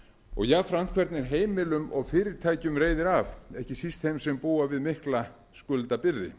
og jafnframt hvernig heimilum og fyrirtækjum reiðir af ekki síst þeim sem búa við mikla skuldabyrði